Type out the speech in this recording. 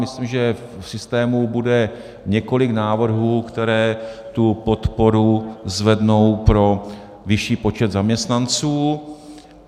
Myslím, že v systému bude několik návrhů, které tu podporu zvednou pro vyšší počet zaměstnanců.